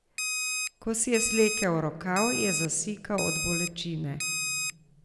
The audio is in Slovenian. Ko si je slekel rokav, je zasikal od bolečine.